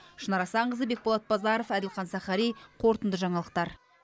шынар асанқызы бекболат базаров әділхан сахари қорытынды жаңалықтар